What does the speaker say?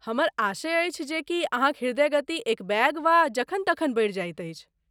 हमर आशय अछि जे की अहाँक हृदय गति एकबेग वा जखन तखन बढ़ि जाइत अछि?